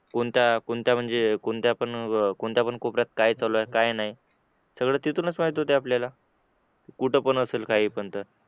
कोणता कोणता म्हणजे कोणत्या पण कोणत्या पण कोपऱ्यात काय चालू आहे काय नाही सगळं तिथूनच माहीत होतं आपल्याला कुठे कोण असेल काही पण तर